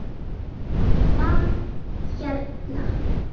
Hvað hérna.